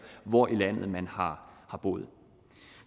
hvor i landet man har boet